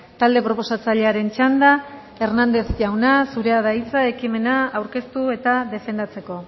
talde proposatzailearen txanda hernández jauna zurea da hitza ekimena aurkeztu eta defendatzeko